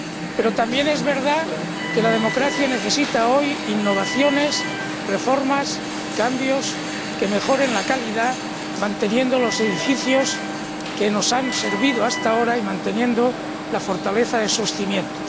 Pero también es verdad que la democracia necesita hoy innovaciones, reformas, cambios que mejoren la calidad, manteniendo los edificios que nos han servido hasta ahora y manteniendo la fortaleza de sus cimientos.